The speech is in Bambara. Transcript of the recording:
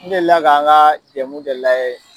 N delila k'an ka jɛmu dɔ layɛ.